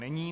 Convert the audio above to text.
Není.